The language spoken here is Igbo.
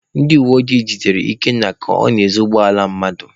Ndị uweojii nwudere Ikenna ka ọ na-ezu ụgbọala mmadụ.